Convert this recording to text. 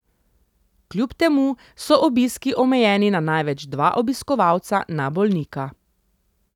Kljub temu so obiski omejeni na največ dva obiskovalca na bolnika.